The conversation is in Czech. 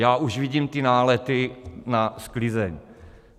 Já už vidím ty nálety na sklizeň.